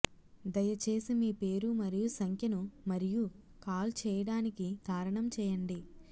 దయచేసి మీ పేరు మరియు సంఖ్యను మరియు కాల్ చేయడానికి కారణం చేయండి